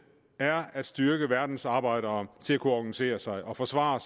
er at styrke verdens arbejdere til at kunne organisere sig og forsvare